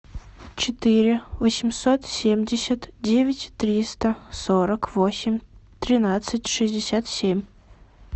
четыре восемьсот семьдесят девять триста сорок восемь тринадцать шестьдесят семь